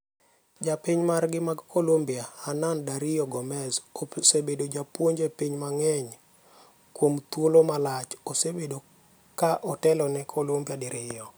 Jopiny margi mag Colombia, Hernan Dario Gomez, osebedo japuonj e pinje mang'eny kuom thuolo malach, osebedo ka otelo ne Colombia diriyo.